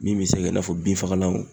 Min bɛ se ka i n'a fɔ bin fagalanw